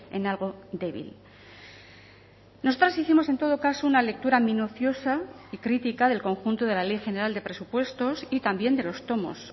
en algo débil nosotras hicimos en todo caso una lectura minuciosa y crítica del conjunto de la ley general de presupuestos y también de los tomos